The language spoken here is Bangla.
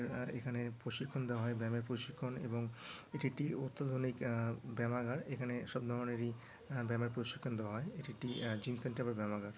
আহ এখানে প্রশিক্ষণ দেওয়া হয় ব্যামের প্রশিক্ষণ এবং এটি একটি অত্যাধুনিক আহ ব্যয়ামাগার এখানে সব ধরনেরই ব্যামের প্রশিক্ষণ দেওয়া হয় এটি একটি জিম সেন্টার বা ব্যয়ামাগার।